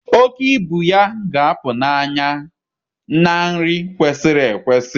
Oke ibu ya ga-apụ n'anya na nri kwesịrị ekwesị